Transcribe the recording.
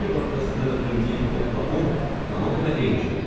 İndiki vaxtda sizdən ötrü 1000 funtla 10 tamamilə eyni şeydir.